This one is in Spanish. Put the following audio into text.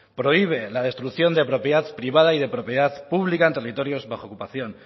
prohíbe la destrucción de propiedad privada y de propiedad pública en territorios bajo ocupación